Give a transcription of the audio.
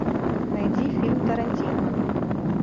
найди фильм тарантино